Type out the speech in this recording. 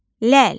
Ləl.